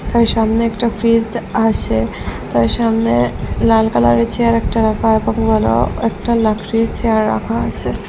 তার সামনে একটা ফ্রিজ দে আসে তার সামনে লাল কালারের চেয়ার একটা রাখা একটা লকড়ির চেয়ার রাখা আসে।